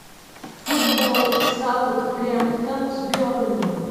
футбол саутгемптон с бернли